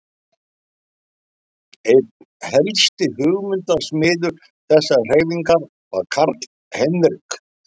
Einn helsti hugmyndasmiður þessarar hreyfingar var Karl Heinrich